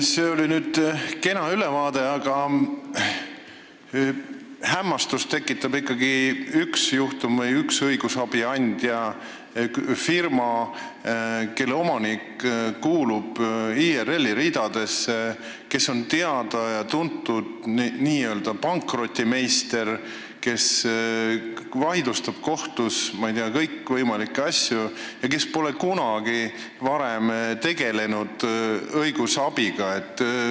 See oli nüüd kena ülevaade, aga hämmastust tekitab ikkagi üks juhtum või üks õigusabiandja – firma, kelle omanik kuulub IRL-i ridadesse ning on teada-tuntud n-ö pankrotimeister, kes vaidlustab kohtus, ma ei tea, kõikvõimalikke asju, kuigi pole kunagi varem õigusabi osutamisega tegelenud.